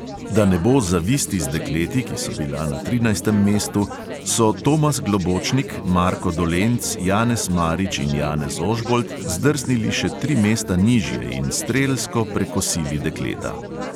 Da ne bo zavisti z dekleti, ki so bila na trinajstem mestu, so tomas globočnik, marko dolenc, janez marič in janez ožbolt zdrsnili še tri mesta nižje in strelsko prekosili dekleta.